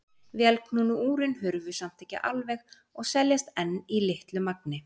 Vélknúnu úrin hurfu samt ekki alveg og seljast enn í litlu magni.